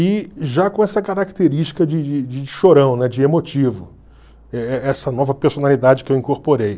E já com essa característica de de de chorão, de emotivo, e e essa nova personalidade que eu incorporei.